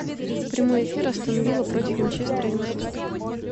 прямой эфир астон вилла против манчестер юнайтед